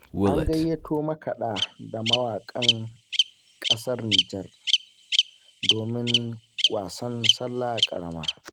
An gayyato makaɗa da mawaƙan ƙasar Nijar, domin wasan sallah ƙarama.